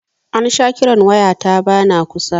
An sha kiran waya ta ba na kusa